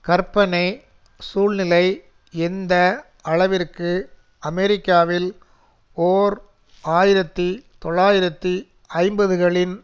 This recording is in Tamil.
கற்பனை சூழ்நிலை எந்த அளவிற்கு அமெரிக்காவில் ஓர் ஆயிரத்தி தொள்ளாயிரத்து ஐம்பதுகளின்